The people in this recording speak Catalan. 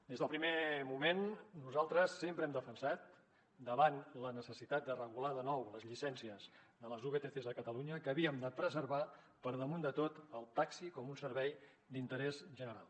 des del primer moment nosaltres sempre hem defensat davant la necessitat de regular de nou les llicències de les vtcs a catalunya que havíem de preservar per damunt de tot el taxi com un servei d’interès general